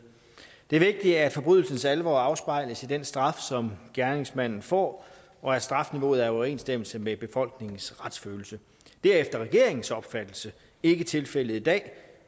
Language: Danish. det er vigtigt at forbrydelsens alvor afspejles i den straf som gerningsmanden får og at strafniveauet er i overensstemmelse med befolkningens retsfølelse det er efter regeringens opfattelse ikke tilfældet i dag